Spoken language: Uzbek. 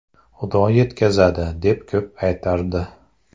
Xudo yetkazadi” deb ko‘p aytardi.